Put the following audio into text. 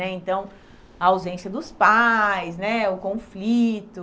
né então A ausência dos pais né, o conflito.